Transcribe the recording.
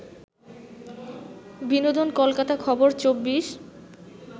বিনোদন কলকাতা খবর ২৪